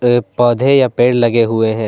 ये पौधे या पेड़ लगे हुए है।